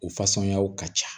U fasɔnyaw ka ca